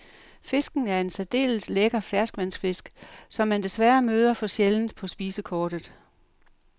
Fisken er en særdeles lækker ferskvandsfisk, som man desværre møder for sjældent på spisekortet.